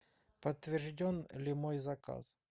подтвержден ли мой заказ